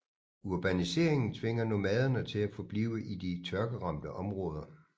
Urbaniseringen tvinger nomaderne til at forblive i de tørkeramte områder